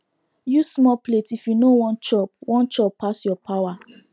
use small plate if you no wan chop wan chop pass your power